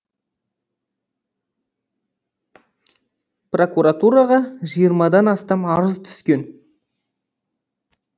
прокуратураға жиырмадан астам арыз түскен